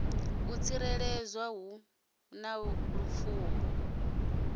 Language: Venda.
u tsikeledzwa hu na lupfumo